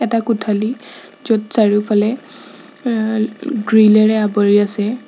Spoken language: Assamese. এটা কোঠালি য'ত চাৰিওফালে অ গ্ৰীল এৰে আৱৰি আছে।